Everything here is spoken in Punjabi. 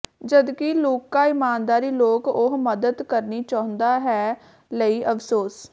ਜਦਕਿ ਲੂਕਾ ਇਮਾਨਦਾਰੀ ਲੋਕ ਉਹ ਮਦਦ ਕਰਨੀ ਚਾਹੁੰਦਾ ਹੈ ਲਈ ਅਫ਼ਸੋਸ